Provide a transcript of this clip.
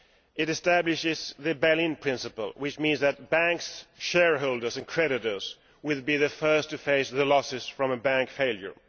It establishes the Berlin principle, which means that banks' shareholders and creditors will be the first to face the losses from a bank failure.